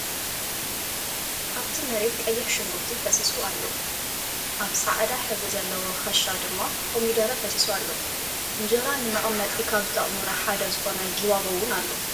ኣብቲ መሬት ቀይሕ ሽጉርቲ ፈሲሱ ኣሎ ።ኣብ ፃዕደዳሕብሪ ዘለዎ ክሻ ድማ ኮሚደረ ፈሲሱ ኣሎ። እንጀራ ነመቀመጢ ካብ ዝጠቅሙና ሓደ ዝኮነ ጊባባ እውን ኣሎ።